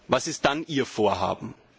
Was ist dann Ihr Vorhaben?